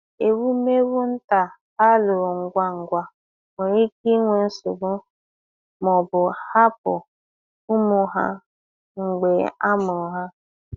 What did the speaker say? Ewumewụ nta a lụrụ ngwa ngwa nwere ike inwe nsogbu ma ọ bụ hapụ ụmụ ha mgbe a mụrụ ha.